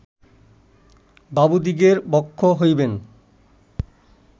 বাবুদিগের ভক্ষ্য হইবেন